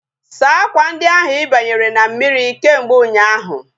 Saa akwa ndi ahu ibianyere na mmiri kemgbe ụnyaahụ!